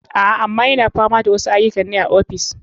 A, ama yana fama da wasu aiyukan ne a ofis.